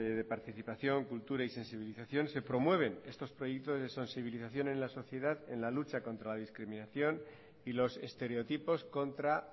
de participación cultura y sensibilización se promueven estos proyectos de sensibilización en la sociedad en la lucha contra la discriminación y los estereotipos contra